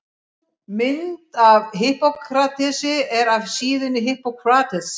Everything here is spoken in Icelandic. Mynd af Hippókratesi er af síðunni Hippocrates.